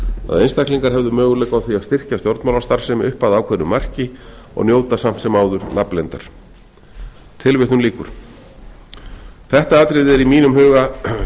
að einstaklingar hefðu möguleika á því að styrkja stjórnmálastarfsemi upp að ákveðnu marki og njóta samt sem áður nafnleyndar þetta atriði er í mínum huga